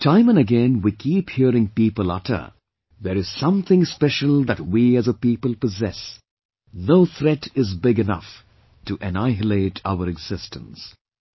Time and again we keep hearing people utter 'There is something special that we as a people possess... no threat is big enough to annihilate our existence'